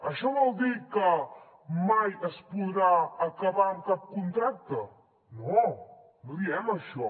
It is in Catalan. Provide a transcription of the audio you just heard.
això vol dir que mai es podrà acabar amb cap contracte no no diem això